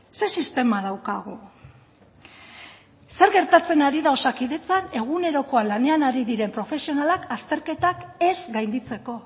ze sistema daukagu zer gertatzen ari da osakidetzan egunerokoan lanean ari diren profesionalak azterketak ez gainditzeko